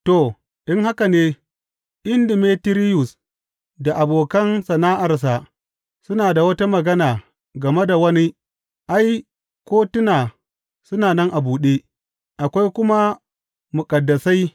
To, in haka ne, in Demetiriyus da abokan sana’arsa suna da wata magana game da wani ai, kotuna suna nan a buɗe, akwai kuma muƙaddasai.